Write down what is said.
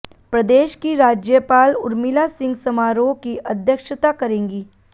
प्रदेश की राज्यपाल उर्मिला सिंह समारोह की अध्यक्षता करेंगी